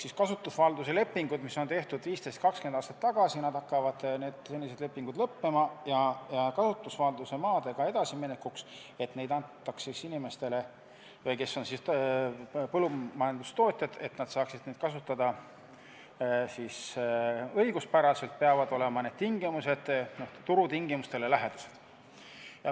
Senised kasutusvalduse lepingud, mis on tehtud 15–20 aastat tagasi, hakkavad lõppema ja kasutusvalduse maadega edasiminekuks – et neid antaks neile, kes on põllumajandustootjad, et nad saaksid neid maid kasutada õiguspäraselt – peavad need tingimused olema turutingimustele lähedased.